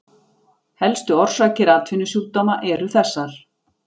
Helstu orsakir atvinnusjúkdóma eru þessar